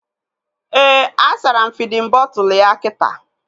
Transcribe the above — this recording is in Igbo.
Ee, a sara m fidin bọtụlu ya kita